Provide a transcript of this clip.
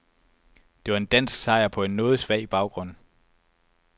Det var en dansk sejr på en noget svag baggrund.